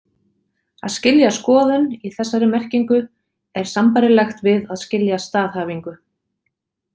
Að skilja skoðun, í þessari merkingu, er sambærilegt við að skilja staðhæfingu.